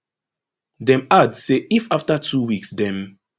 dem add say if afta two weeks dem